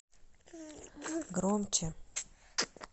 громче